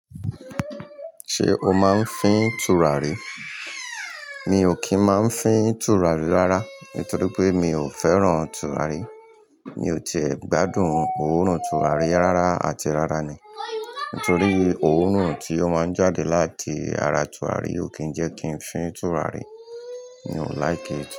Ṣé o máa ń fín tùràrí? Mi ò kí ń máa ń fín tùràrí rárá, nítorí pé mi ò fẹ́ràn tùràrí. Mi ò tiẹ̀ gbádùn òórùn tùràrí rárá àti rárá ni. Nítorí òórùn tí ó máa ń jáde láti ara tùràrí ò kí ń jẹ́ kí ń fín tùràrí. Mi ò like it.